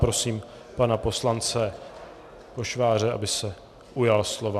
Prosím pana poslance Pošváře, aby se ujal slova.